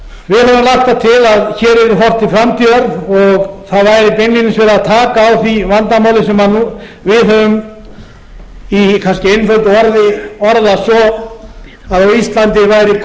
til að hér verði horft til framtíðar og það væri beinlínis verið að taka á því vandamáli sem við höfum í kannski einföldu orðið orðað það svo